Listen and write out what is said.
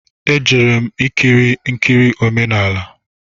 E jere m ikiri nkiri omenala